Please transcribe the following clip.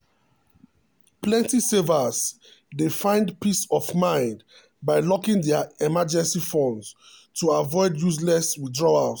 plenty savers dey find um peace of mind by locking dia emergency um funds to avoid useless withdrawals.